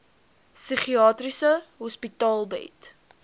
psigiatriese hospitale bied